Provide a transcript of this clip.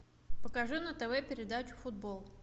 покажи на тв передачу футбол